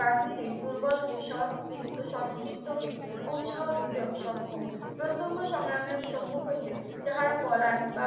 গান্ধীজি দুর্বলকে সশ্নিগ্ধ স্বস্নিগ্ধ কে উৎসাহ দিতে সক্ষম প্রত্যহ সংগ্রামের সম্ভব হইতে যাহারা পলায় বা